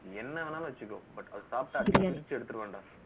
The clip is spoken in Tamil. என்ன வேணாலும் வச்சுக்கோ but அதா சாப்பிட பிரிச்சி எடுத்துடுவேன் டா